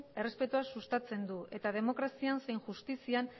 errespetua sustatzen du eta demokrazian zein justizian